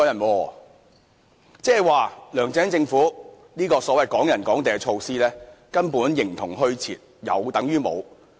換言之，梁振英政府這項所謂的"港人港地"措施根本形同虛設，有等於無。